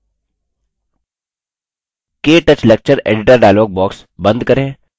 ktouch lecture editor dialog box बंद करें